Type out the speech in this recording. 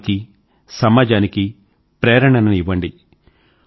కుటుంబానికీ సమాజానికీ ప్రేరణని ఇవ్వండి